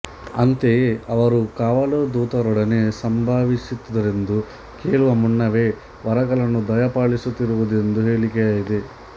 ಅಂತೆಯೇ ಅವರು ಕಾವಲು ದೂತರೊಡನೆ ಸಂಭಾಷಿಸುತ್ತಿದ್ದರೆಂದೂ ಕೇಳುವ ಮುನ್ನವೇ ವರಗಳನ್ನು ದಯಪಾಲಿಸುತ್ತಿದ್ದರೆಂದೂ ಹೇಳಿಕೆಯಿದೆ